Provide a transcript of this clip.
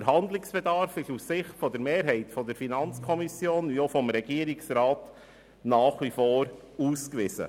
Der Handlungsbedarf ist sowohl aus Sicht der Mehrheit der FiKo als auch des Regierungsrats ausgewiesen.